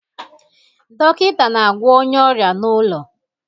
Dọkịta na-agwọ onye ọrịa n'ụlọ